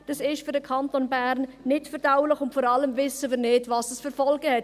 Dies ist für den Kanton Bern nicht verdaulich, und vor allem wissen wir nicht, welche Folgen es hat.